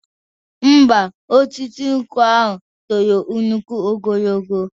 Ḿbà, osisi nkwụ ahu tolo nnukwu ogo.